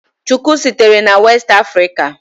Shuku sitere na West Africa.